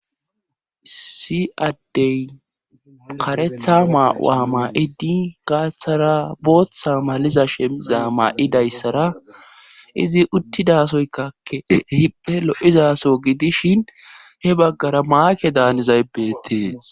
Isi addey karetha maa7wa ma7idi gaaththara booththa maliza shemiza maa7idayssara izi uttidasoykakke hiphe lo7izaso gidishin he baggara maake daanizaybeetee..